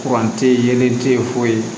Kuran tɛ yeelen te ye foyi